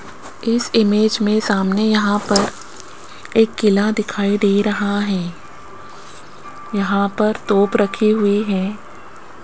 इस इमेज में सामने यहां पर एक किला दिखाई दे रहा है यहां पर तोप रखे हुए है।